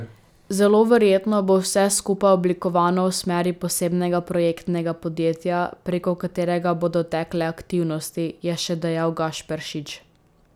Zelo verjetno bo vse skupaj oblikovano v smeri posebnega projektnega podjetja, preko katerega bodo tekle aktivnosti, je še dejal Gašperšič.